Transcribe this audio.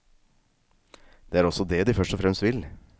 Det er også det de først og fremst vil.